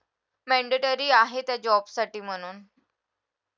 mandatory आहे त्या job साठी म्हणून